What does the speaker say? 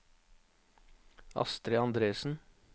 Astrid Andresen